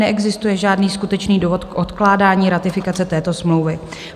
Neexistuje žádný skutečný důvod k odkládání ratifikace této smlouvy.